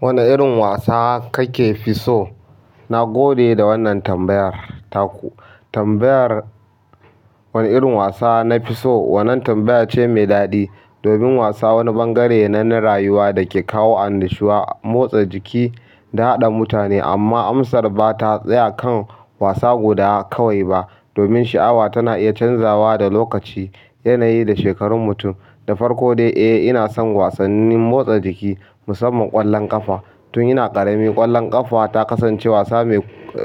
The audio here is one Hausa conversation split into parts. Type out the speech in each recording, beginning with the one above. Wane irin wasa kakefi so? Na gode da wannan tambayar taku. Tambayar wane irin wasa nafiso, wannan tambaya ce mai daɗi. Domin wasa wani bangare ne na rayuwa da ke kawo annushuwa, motsa jiki da haɗa mutane. Amma amsar ba ta tsaya kan wasa guda kawai ba. Domin sha'awa tana iya canzawa da lokaci, yanayi da shekarun mutum. Da farko dai, eh ina son wasannin motsa jiki musamman ƙwallon ƙafa. Tun ina ƙarami ƙwallon ƙafa ta kasance wasa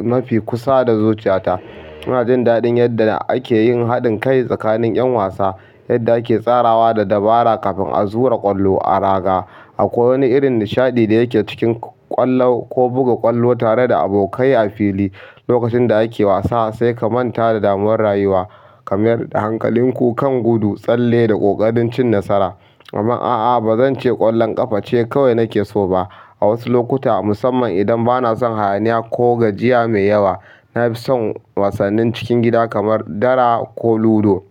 mafi kusa da zuciyata. Ina jin daɗin yadda ake yin haɗin kai tsakanin 'yan wasa, yadda ake tsarawa da dabara kafin a zura ƙwallo a raga. Akwai wani irin nishaɗi da yake cikin ƙwallo ko buga ƙwallo tare da abokai a fili. Lokacin da ake wasa sai ka manta da damar rayuwa kamar hankalinku kan gudu, tsalle da ƙoƙarin cin nasara. Amma a'a ba zance ƙwallon ƙafa ce kawai nake so ba. A wasu lokuta musamman idan banasan hayaniya ko gajiya mai yawa nafisan wasannin cikin gida kamar dara ko luro.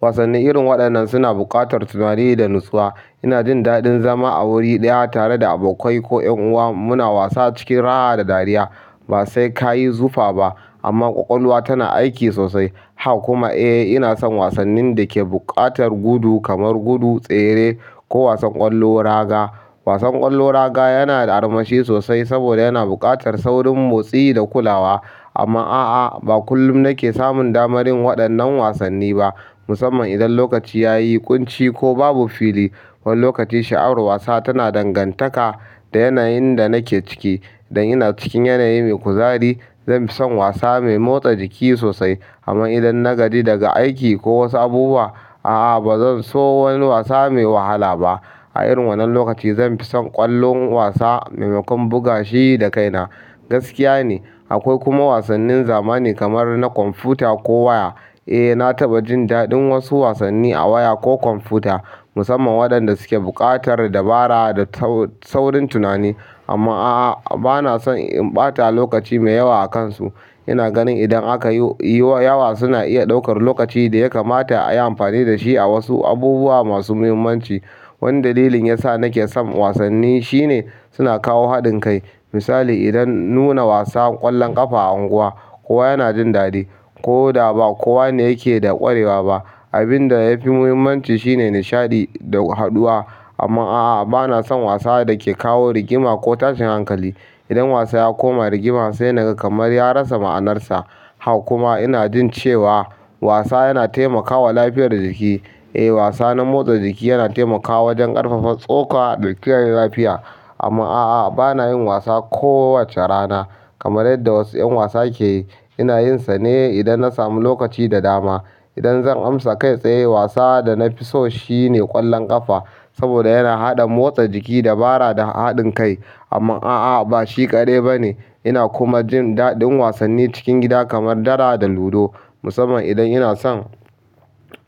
Wasannin irin waɗannan suna buƙatar tunani da natsuwa. Ina jin daɗin zama a wuri ɗaya tare da abokai ko 'yan uwa muna wasa cikin raha da dariya. Ba sai ka yi zufa ba amma ƙwaƙwalwa tana aiki sosai. Haka kuma eh ina son wasannin da ke buƙatar gudu kamar gudu tsere ko wasan ƙwallo raga. Wasan ƙwallo raga yana da armashi sosai saboda yana buƙatar saurin motsi da kulawa. Amma a'a ba kullum nake samun damarin waɗannan wasanni ba. Musamman idan lokaci ya yi ƙunci ko babu fili. Wani lokaci sha'awar wasa tana dangantaka da yanayin da nake ciki. Idan ina cikin yanayi mai kuzari zanfi son wasa mai motsa jiki sosai. Amma idan na gaji daga aiki ko wasu abubuwa a'a bazanso wani wasa mai wahala ba. A irin wannan lokaci zanfi son ƙwallon wasa maimakon buga shi da kaina. Gaskiya ne akwai kuma wasannin zamani kamar na kwamfuta ko waya. Eh na taɓa jin daɗin wasu wasanni a waya ko kwamfuta musamman waɗanda suke buƙatar dabara da saurin tunani. Amma a'a bana son in ɓata lokaci mai yawa a kansu. Ina ganin idan aka yi yawa suna iya ɗaukar lokaci da ya kamata ayi amfani da shi a wasu abubuwa masu muhimmanci. Wani dalilin yasa nake son wasanni shine suna kawo haɗin kai. Misali idan nuna wasan ƙwallon ƙafa a unguwa ko yana jin daɗi ko da ba kowa ne yake ƙwarewa ba. Abin da yafi muhimmanci shine nishaɗi da haduwa. Amma a'a bana son wasa da ke kawo rigima ko tashin hankali. Idan wasa ya koma rigima sai naga kamar ya rasa ma'anarsa. Haka kuma ina jin cewa wasa yana taimakawa lafiyar jiki. Eh wasa na motsa jiki yana taimakawa wajen ƙarfafa tsoka da kiyaye lafiya. Amma a'a bana yin wasa kowace rana kamar yadda wasu 'yan wasa ke yi. Ina yinsa ne idan nasamu lokaci da dama idan zan amsa kai tsaye wasa da nafiso shine ƙwallon ƙafa saboda yana haɗa motsa jiki, dabara da haɗin kai. Amma a'a ba shi kaɗai ba ne. Ina kuma jin daɗin wasanni cikin gida kamar dara da ludo musamman idan ina son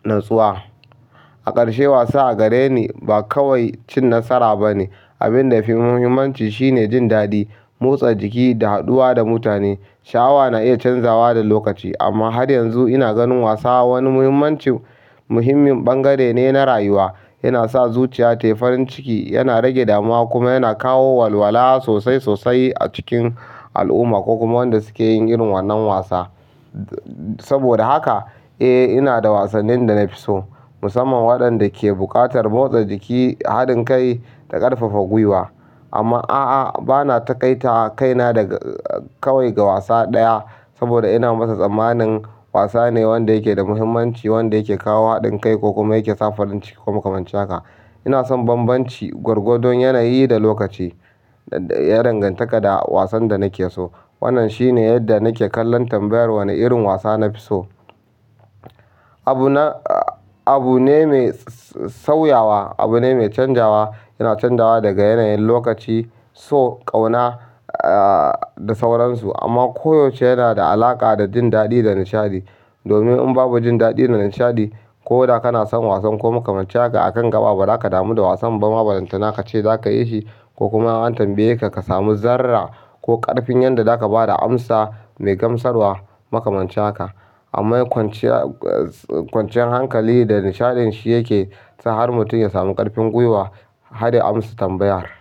natsuwa. A ƙarshe wasa a gare ni ba kawai cin nasara ba ne. Abin da fi muhimmanci shine jin daɗi, motsa jiki da haduwa da mutane. Sha'awa na iya canzawa da lokaci amma har yanzu ina ganin wasa wani muhimmancin muhimmin bangare ne na rayuwa. Yana sa zuciya ta yi farin ciki, yana rage dama kuma yana kawo walwala sosai sosai a cikin al'umma ko kuma waɗanda suke yin irin wannan wasa. Saboda haka eh ina da wasannin da nafiso musamman waɗanda ke buƙatar motsa jiki, haɗin kai da ƙarfafa gwiwa. Amma a'a bana taƙaita kaina daga kawai ga wasa ɗaya saboda ina masa tsammanin wasa ne wanda yake da muhimmanci wanda yake kawo haɗin kai ko kuma yake sa farin ciki ko makamancika. Inason bambamci gwargwardon yanayi da lokaci ya dangantaka da wasan dana ke so. Wannan shine yadda nake kallon tambayar wane irin wasa nafiso. Abu na, abu ne mai sauyawa, abu ne mai canzawa yana canzawa daga yanayin lokaci so ƙauna da sauransu. Amma koyaushe yana da alaƙa da jin daɗi da nishaɗi. Domin in babu jin daɗi da nishaɗi ko da kana son wasan ko makamancin haka akan gaba ba za ka damu da wasan ba. Barantana ka ce za ka yi shi ko kuma an tambaye ka ka samu zarra ko ƙarfin yadda za ka ba da amsa mai gamsarwa makamancin haka amma kwanciyar hankali da nishaɗin shi yake sa har mutum ya samu ƙarfin gwiwa har ya amsa tambayar.